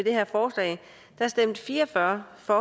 her forslag stemte fire og fyrre for